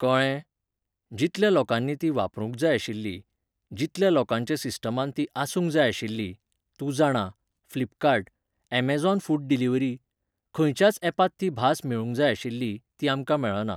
कळ्ळें? जितल्या लोकांनी ती वापरूंक जाय आशिल्ली, जितल्या लोकांच्या सिस्टमांत ती आसूंक जाय आशिल्ली, तूं जाणा, फ्लिपकार्ट, यॅमॅझोन फूड डिलीवरी ? खंयच्याच यॅपांत ती भास मेळूंक जाय आशिल्ली, ती आमकां मेळना.